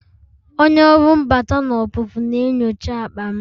Onye ọrụ mbata na ọpụpụ na-enyocha akpa m